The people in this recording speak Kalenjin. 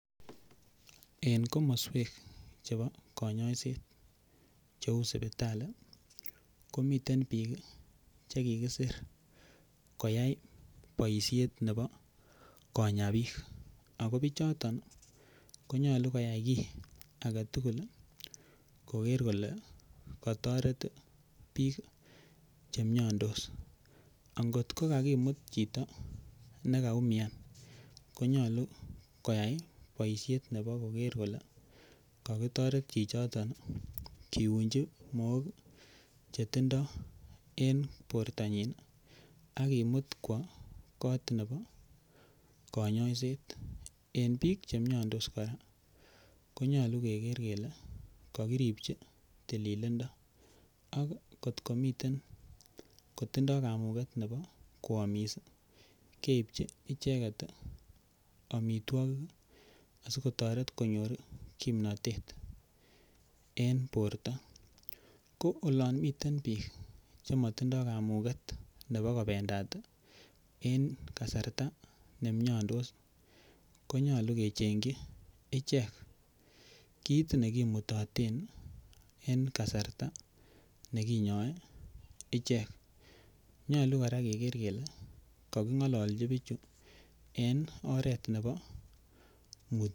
En komoswek chebo kanyaiset cheu sipitali komiten bik Che kikisir koyai boisiet nebo konya bik ako bichoton ko nyolu koyai age tugul koger kole kotoret bik Che miandos angot ko kakimut chito ne kaumian ko nyolu koyai boisiet nebo koger kole kakitoret chichoton kiunji Mook Chetindoi en bortanyin ak kimut kwo kot nebo kanyaiset en bik Che miandos kora konyolu keger kele kakiribchi tililindo ak kot komiten kotindoi kamuget nebo koamis keibchi icheget amitwogik asi kotoret konyor kimnatet en borto ko olon miten bik Che matindoi kamuget nebo kobendat en kasarta nemiandos ko nyolu kechengchi ichek kit nekimutoten en kasarta ne kinyoe ichek nyolu kora keger kele kakigochi bichu oret nebo mutyanet